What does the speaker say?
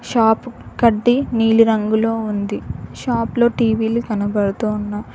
Shop కడ్డి నీలి రంగులో ఉంది షాపులో టీ_వీలు కనపడుతున్నాయి.